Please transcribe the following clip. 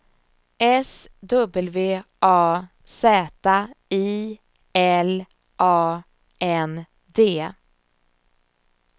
S W A Z I L A N D